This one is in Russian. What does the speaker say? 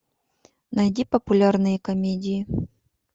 найди популярные комедии